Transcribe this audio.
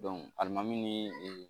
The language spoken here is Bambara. alimami ni ee